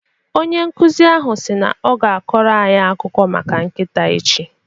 Onye nkuzi ahụ si na ọ ga-akọrọ anyị akụkọ maka nkịta echi.